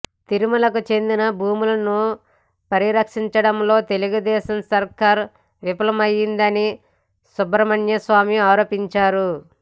తిరుమలకు చెందిన భూములను పరిరక్షించడంలో తెలుగుదేశం సర్కార్ విఫలమయ్యిందని సుబ్రమణ్యస్వామి ఆరోపించారు